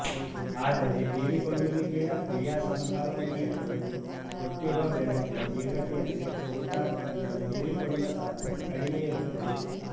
ಆದರೆ ಹೀರಿಕೊಳ್ಳುವಿಕೆಯ ಕ್ರೀಯಾಸಂಭವನೀಯತೆಯು ಕೊಟ್ಟಿರುವ ಬೆಳಕಿನ ತೀವ್ರತೆಯಲ್ಲಿ ಫೋಟಾನ್ ನನ್ನು ಹೀರಿಕೊಳ್ಳುವ ಸಾಧ್ಯತೆ ಕಡಿಮೆ ಇರುತ್ತದೆ